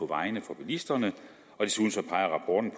vejene for bilisterne